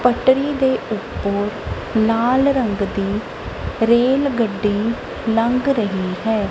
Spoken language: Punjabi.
ਪਟਰੀ ਦੇ ਉੱਤੋਂ ਲਾਲ ਰੰਗ ਦੀ ਰੇਲ ਗੱਡੀ ਲੰਘ ਰਹੀ ਹੈ।